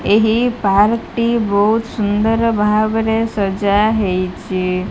ଏହି ପାର୍କଟି ବୋହୁତ ସୁନ୍ଦର ଭାବରେ ସଜା ହେଇଚି।